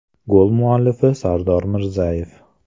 Gol muallifi Sardor Mirzayev.